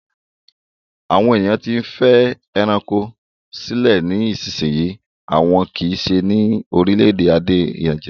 Àwọn èèyàn tí ń fẹ́ ẹranko sílé ní ìsisìyí àmọ́ kìí se ní orílẹ̀-èdè Nàìjíríà